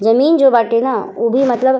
जमीन जो बाटे न उ भी मतलब --